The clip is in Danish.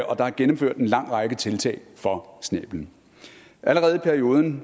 og der er gennemført en lang række tiltag for snæblen allerede i perioden